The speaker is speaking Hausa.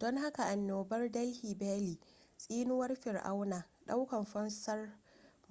don haka annobar delhi belly tsinuwar fir'auna ɗaukar fansar